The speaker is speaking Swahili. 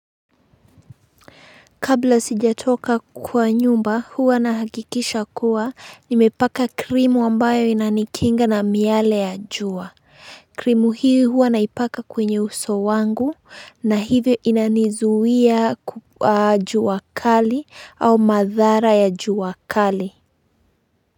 Kabla sijatoka kuwa nyumba, huwa na hakikisha kuwa, nimepaka krimu wambayo ina nikinga na miale ya juwa. Krimu hii huwa naipaka kwenye uso wangu na hivyo ina nizuia juwa kali au madhara ya juwa kali.